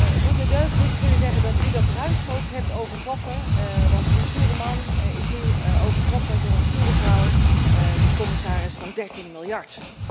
Het doet me deugd nu te kunnen zeggen dat u dat ruimschoots hebt overtroffen, want die stoere man is nu overtroffen door een stoere vrouw de commissaris van 13 miljard.